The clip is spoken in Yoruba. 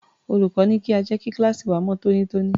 Olùkọ́ ní kí a jẹ́ kí kíláàsì wa mọ́ tónítóní.